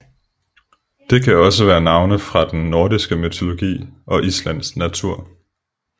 Det kan også være navne fra den nordiske mytologi og Islands natur